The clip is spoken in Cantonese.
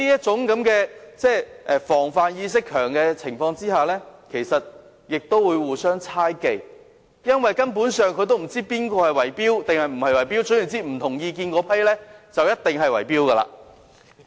此外，在居民的防範意識加強後，其實他們亦會互相猜忌，因為他們根本不知道誰圍標或有否圍標，總之持不同意見的那些人便一定在圍標。